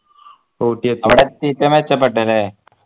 അവിടെ എത്തീട്ടാ മെച്ചപ്പെട്ടതല്ലേ